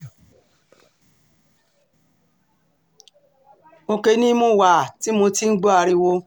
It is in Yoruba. òkè ni mo wà um tí mo ti ń gbọ́ ariwo